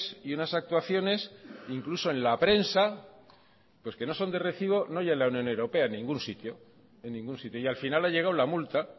y unas actuaciones incluso en la prensa pues que no son de recibo no ya en la unión europea en ningún sitio y al final ha llegado la multa